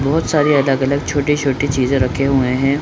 बहुत सारी अलग-अलग छोटे-छोटे चीजे रखे हुए हैं ।